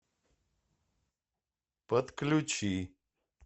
подключи